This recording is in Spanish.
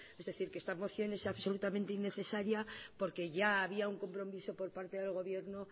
es decir que esta moción es absolutamente innecesaria porque ya había un compromiso por parte del gobierno